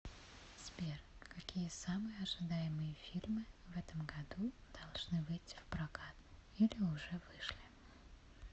сбер какие самые ожидаемые фильмы в этом году должны выити в прокат или уже вышли